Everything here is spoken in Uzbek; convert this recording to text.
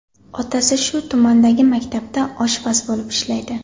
Otasi shu tumandagi maktabda oshpaz bo‘lib ishlaydi.